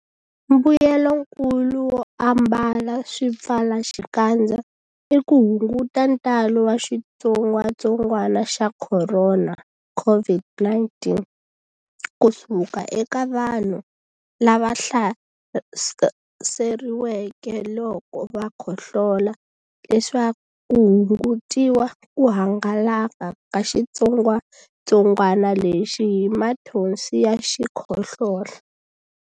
Mbuyelonkulu wo ambala swipfalaxikandza i ku hunguta ntalo wa xitsongwantsongwana xa Khorona, COVID-19, ku suka eka vanhu lava hlaseriweke loko va khohlola leswaku ku hungutiwa ku hangalaka ka xitsongwantsongwana lexi hi mathonsi ya xikhohlola.